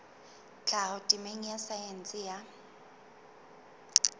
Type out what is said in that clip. tlhaho temeng ya saense ya